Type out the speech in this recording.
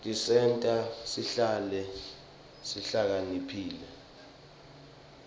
tisenta sihlakanipite